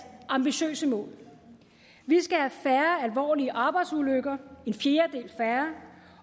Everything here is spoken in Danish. ambitiøse mål vi skal have færre alvorlige arbejdsulykker en fjerdedel færre